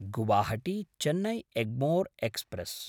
गुवाहाटी–चेन्नै Egmore express